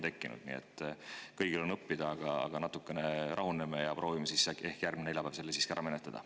Nii et kõigil on sellest õppida, aga natukene rahuneme ja proovime selle äkki järgmine neljapäev siiski ära menetleda.